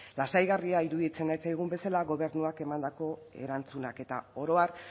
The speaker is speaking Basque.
lasaigarria iruditzen ez zaigun bezala gobernuak emandako erantzunak eta oro har